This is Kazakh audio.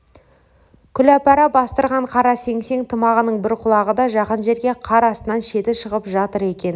күләпәра бастырған қара сеңсең тымағының бір құлағы да жақын жерде қар астынан шеті шығып жатыр екен